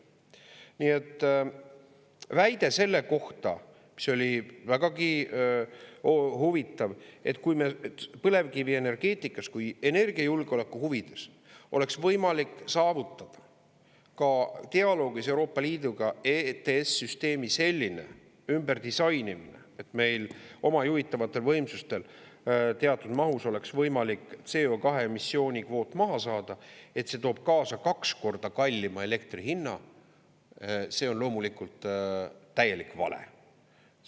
Nii et väide selle kohta, mis oli vägagi huvitav, et kui me põlevkivienergeetikas, kui energiajulgeoleku huvides oleks võimalik saavutada ka dialoogis Euroopa Liiduga EETS- süsteemi selline ümberdisainimine, et meil oma juhitavatel võimsustel teatud mahus oleks võimalik CO2-emissiooni kvoot maha saada, et see toob kaasa kaks korda kallima elektri hinna, see on loomulikult täielik vale.